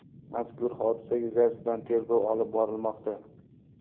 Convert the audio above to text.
Mazkur hodisa yuzasidan tergov olib borilmoqda.